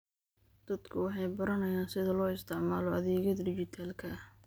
Dadku waxay baranayaan sida loo isticmaalo adeegyada dhijitaalka ah.